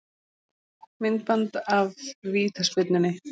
Myndband af vítaspyrnunni